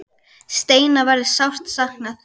Steina verður sárt saknað.